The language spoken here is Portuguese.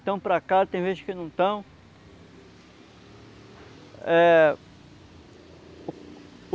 estão para cá, tem vezes que não estão.